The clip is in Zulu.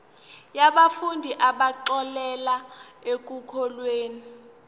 yabafundi abaxolelwa ekukhokheni